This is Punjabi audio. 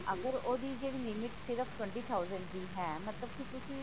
ਅਗਰ ਉਹਦੀ ਜਿਹੜੀ limit ਸਿਰਫ twenty thousand ਦੀ ਹੈ ਮਤਲਬ ਕਿ ਤੁਸੀ